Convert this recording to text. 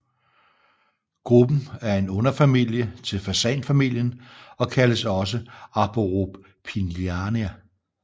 Gruppen er en underfamilie til fasanfamilien og kaldes også Arborophilinae